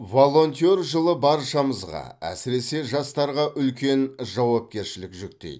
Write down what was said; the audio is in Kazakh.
волонтер жылы баршамызға әсіресе жастарға үлкен жауапкершілік жүктейді